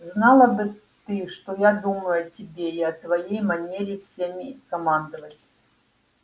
знала бы ты что я думаю о тебе и о твоей манере всеми командовать